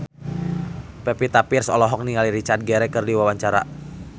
Pevita Pearce olohok ningali Richard Gere keur diwawancara